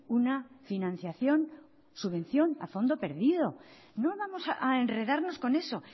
una financiación subvención a fondo perdido no vamos a enredarnos con eso